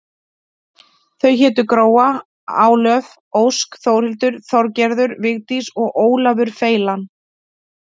Þau hétu Gróa, Álöf, Ósk, Þórhildur, Þorgerður, Vigdís og Ólafur feilan.